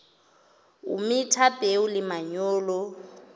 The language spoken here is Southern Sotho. o metha peo le manyolo